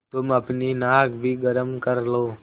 तुम अपनी नाक भी गरम कर लो